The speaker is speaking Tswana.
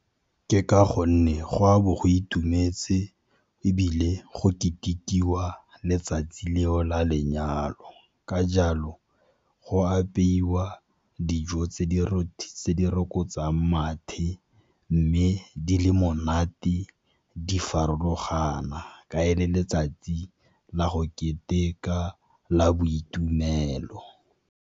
Ke ka gonne go a bo go itumetse ebile go ketekiwa letsatsi leo la lenyalo, ka jalo go apeiwa dijo tse di rokotsang mathe. Mme di le monate di farologana, ka e le letsatsi la go keteka la boitumelo.